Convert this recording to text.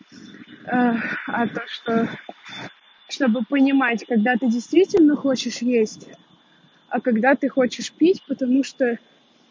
а то что чтобы понимать когда ты действительно хочешь есть а когда ты хочешь пить потому что